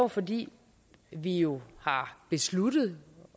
fordi vi jo har besluttet